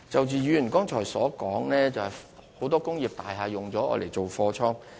議員剛才提及很多工業大廈被用作貨倉。